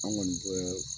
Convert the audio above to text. An kɔni bɛ